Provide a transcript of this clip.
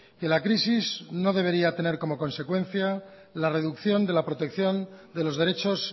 que la crisis no debería de tener como consecuencia la reducción de la protección de los derechos